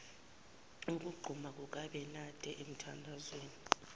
ukuquma kukabenade emithandazweni